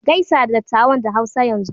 Gaisa da dattawan da Hausa yanzu!